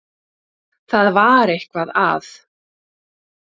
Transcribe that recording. Það var eitthvað að.